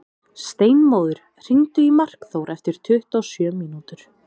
Steinmóður, hringdu í Markþór eftir tuttugu og sjö mínútur.